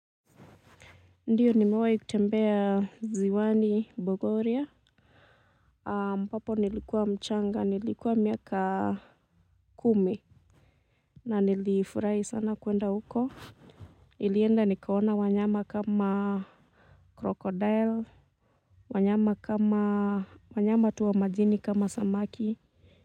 Ndiyo nimewai kutembea ziwani bogoria ambapo nilikuwa mchanga nilikuwa miaka kumi na nilifurahi sana kwenda huko nilienda nikaona wanyama kama crocodile wanyama kama.